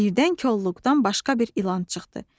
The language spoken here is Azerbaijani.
Birdən kolluqdan başqa bir ilan çıxdı.